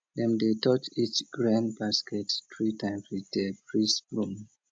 dem dey touch each grain basket three times with di priest broom